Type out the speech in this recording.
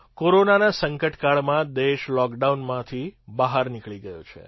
કોરોનાના સંકટ કાળમાં દેશ લૉકડાઉનમાંથી બહાર નીકળી ગયો છે